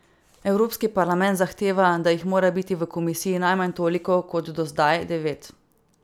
Evropski parlament zahteva, da jih mora biti v komisiji najmanj toliko kot do zdaj, devet.